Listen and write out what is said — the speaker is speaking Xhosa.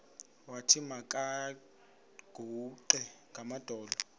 wathi makaguqe ngamadolo